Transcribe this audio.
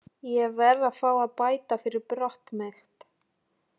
Ég verð að fá að bæta fyrir brot mitt.